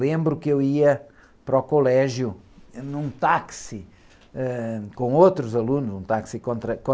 Lembro que eu ia para o colégio em um táxi, ãh, com outros alunos, num táxi